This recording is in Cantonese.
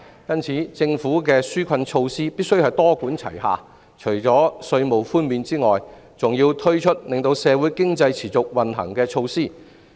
因此，政府的紓困措施必須多管齊下，除了稅務寬免外，還要推出令社會經濟持續運行的措施。